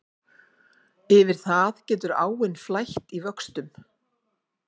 Yfir það getur áin flætt í vöxtum.